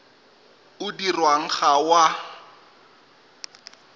o dirwang ga o a